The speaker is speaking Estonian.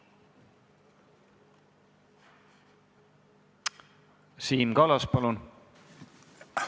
Siim Kallas, palun!